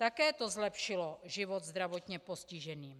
Také to zlepšilo život zdravotně postižených.